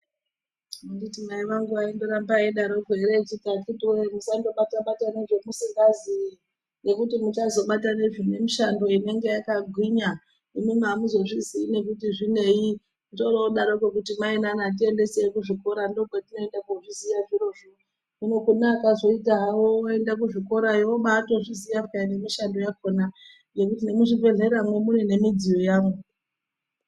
Anditi mai vangu vaindoramba veidaroko ere, echiti akiti wowe musandobata bata nezvimusingaziyi nekuti muchazobata nezvinemishando inenge yakagwinya imwimwi amuzozviziyi nekuti zvinei, toro -odaroko kuti mai nana tiendesei kuzvikora ndokwitinoenda kozviziya zvirozvo, hino kune akazviita havo kuende kuzvikorayo oba atozviziya peya nemishando yakona nekuti nemuzvibhehleramwo mune nemidziyo yavo.